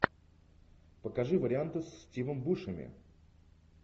покажи варианты с стивом бушеми